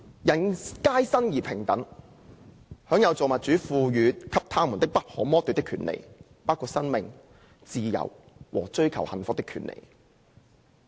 人皆生而平等，享有造物主賦予他們的不可剝奪的權利，包括生命、自由和追求幸福的權利。